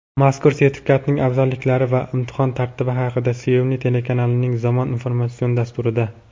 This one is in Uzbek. mazkur sertifikatning afzalliklari va imtihon tartibi haqida "Sevimli" telekanalining "Zamon" informatsion dasturida.